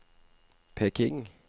Peking